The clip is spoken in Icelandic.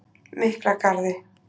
Miklagarði